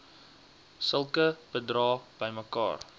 sulke bedrae bymekaar